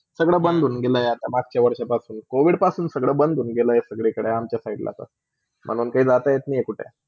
सगल्या बंद होन गेल्या आहे मगच्या वर्षा पासून covid पासून सगळा बंद होन गेला आहे, संगळ्याकडे अमच्या साइडला पण म्हणून काही जाता येत नाही कुठे.